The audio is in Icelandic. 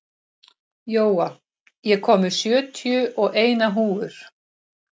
Jóa, ég kom með sjötíu og eina húfur!